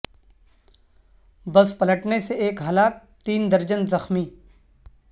بس پلٹنے سے ایک ہلاک تین درجن زخمی